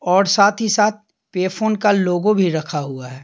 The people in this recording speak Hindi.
और साथ ही साथ पेफोन का लोगो भी रखा हुआ है।